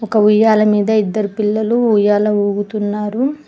ఒక ఉయ్యాల మీద ఇద్దరు పిల్లలు ఉయ్యాల ఊగుతున్నారు.